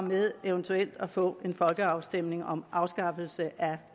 med eventuelt at få en folkeafstemning om afskaffelse af